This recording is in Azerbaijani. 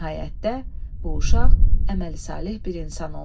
Nəhayətdə bu uşaq əməli saleh bir insan oldu.